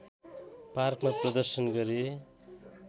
पार्कमा प्रदर्शन गरे